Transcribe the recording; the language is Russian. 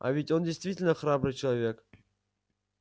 а ведь он действительно храбрый человек